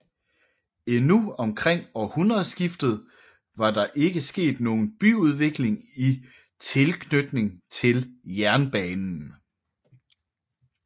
Endnu omkring århundredeskiftet var der ikke sket nogen byudvikling i tilknytning til jernbanen